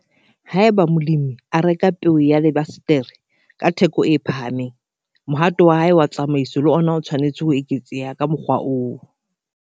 Haeba molemi a a reka peo ya lebasetere ka theko e phahameng, mohato wa hae wa tsamaiso le ona o tshwanetse ho eketseha ka mokgwa oo.